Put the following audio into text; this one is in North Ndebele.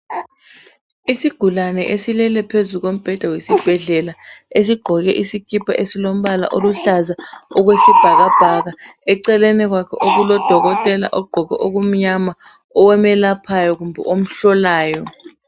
Isigulane esilele phezu kombheda wesibhedlela esigqoke isikipa esilombala oluhlaza okwesibhakabhaka. Eceleni kwakhe kulodokotela ogqoke okumnyama omelaphayo kumbe omhlolayo.